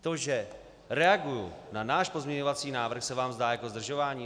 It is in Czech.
To, že reaguji na náš pozměňovací návrh, se vám zdá jako zdržování?